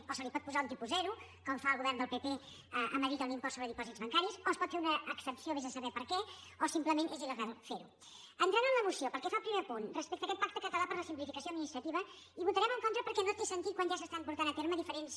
o se li pot posar un tipus zero com fa el govern del pp a madrid amb l’impost sobre dipòsits bancaris o es pot fer una exempció vés a saber per què o simplement és il·entrant en la moció pel que fa al primer punt respecte a aquest pacte català per a la simplificació administrativa hi votarem en contra perquè no té sentit quan ja s’estan portant a terme diferents